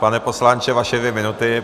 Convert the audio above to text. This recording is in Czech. Pane poslanče, vaše dvě minuty.